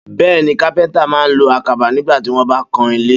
Bé̩è̩ni, kápé̩ńtà máa lo àkàbá nigbà tí wó̩n bá ń kan ilé.